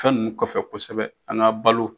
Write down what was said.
Fɛn ninnu kɔfɛ kosɛbɛ an ka balo.